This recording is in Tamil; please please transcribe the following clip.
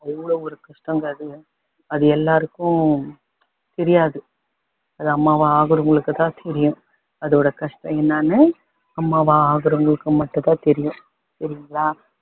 அவ்வளோ ஒரு கஷ்டங்க அது அது எல்லாருக்கும் தெரியாது அது அம்மாவா ஆகுறவங்களுக்கு தான் தெரியும் அதோட கஷ்டம் என்னன்னு அம்மாவா ஆகுறவங்களுக்கு மட்டும் தான் தெரியும் சரிங்களா